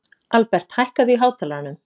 Aðalbert, hækkaðu í hátalaranum.